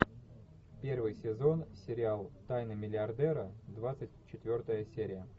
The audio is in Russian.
первый сезон сериал тайны миллиардера двадцать четвертая серия